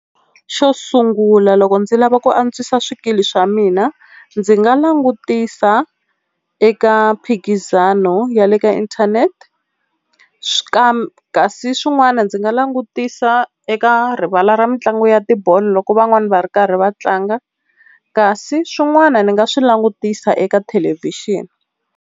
Xo sungula loko ndzi lava ku antswisa swikili swa mina ndzi nga langutisa eka mphikizano ya le ka inthanete swi kasi swin'wana ndzi nga langutisa eka rivala ra mitlangu ya tibolo loko van'wani va ri karhi va tlanga, kasi swin'wana ni nga swi langutisa eka thelevhixini.